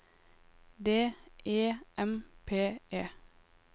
D E M P E